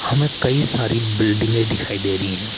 हमें कई सारी बिल्डिंगे दिखाई दे री है।